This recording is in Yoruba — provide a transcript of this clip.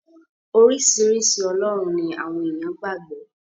Oríṣiríṣi ọlọ́run ni àwọn èèyàn gbà gbọ́.